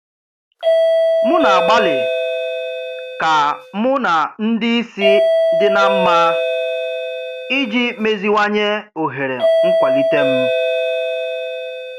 M na-agbalị ka mụ na ndị isi di na mma iji meziwanye ohere nkwalite m.